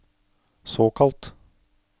såkalt